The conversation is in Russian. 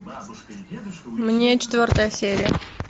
мне четвертая серия